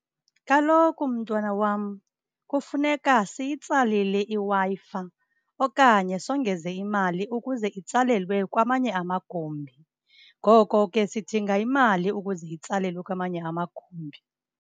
Kaloku, mntwana wam, kufuneka siyitsalile iWi-Fi okanye songeze imali ukuze itsalelwe kwamanye amagumbi. Ngoko ke, sidinga imali ukuze itsalelwe kwamanye amagumbi.